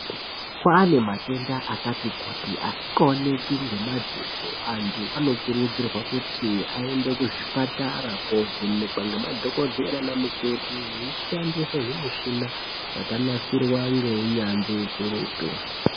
Kwane matenda akati kuti asikaoneki ngemadziso antu anokurudzirwa kuti aende kuzvipatara kovhenekwa ngemadhokodheya nanamukoti veishandisa zvimishina zvakanasirwa ngeunyanzvi ukurutu